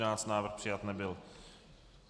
Návrh přijat nebyl.